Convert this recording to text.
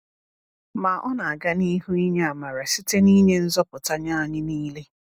Ma Ọ na-aga n’ihu inye amara site n’inye nzọpụta nye anyị niile.